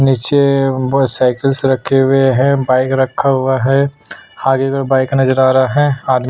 निचे बहुत सिक्लिस रखे हुए है बाइक रखा हुआ है आगे और बाइक नज़र आ रहा है आदमी--